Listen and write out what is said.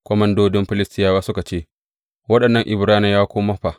Komandodin Filistiyawa suka ce, Waɗannan Ibraniyawa kuma fa?